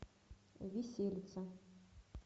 виселица